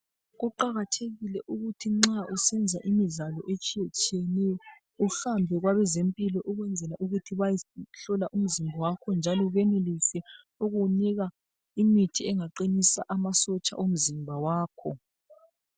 Kuqakathekile ukuthi nxa usenza imidlalo etshiyetshiyeneyo uhambe kwabazempilo ukwenzela ukuthi bakhule umzimba wakhe njalo benelise ukukunika imithi engaqinisa amasotsha omzimba wakho.